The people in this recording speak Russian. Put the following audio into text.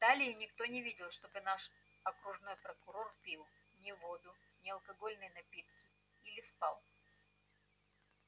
далее никто не видел чтобы наш окружной прокурор пил ни воду ни алкогольные напитки или спал